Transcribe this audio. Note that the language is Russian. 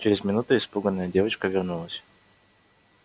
через минуту испуганная девочка вернулась